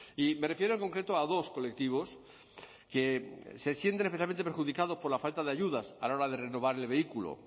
y me refiero en concreto a dos colectivos que se sienten especialmente perjudicados por la falta de ayudas a la hora de renovar el vehículo